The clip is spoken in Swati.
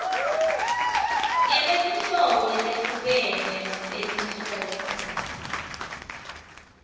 ngekwetinhlobo letehlukene tetinhloso